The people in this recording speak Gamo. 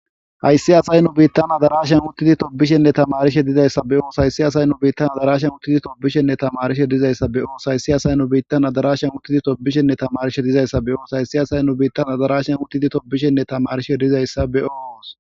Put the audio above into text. hayssi asay nu biittan adarashen uttidi tobishenne tamarishe dizayssa be oos hayssi asay nu biittan adarashen uttidi tobishenne tamarishe dizayssa be oos hayssi asay nu biittan adarashen uttidi tobishenne tamarishe dizayssa be os hayssi asay nu biittan adarashen uttidi tobishenne tamarishe dizayssa be oos